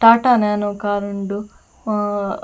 Tata Nano car ಉಂಡು ಆ.